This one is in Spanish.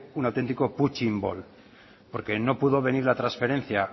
un autentico punching ball porque no pudo venir la transferencia